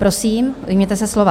Prosím, ujměte se slova.